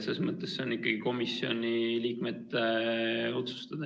See on ikkagi komisjoni liikmete otsustada.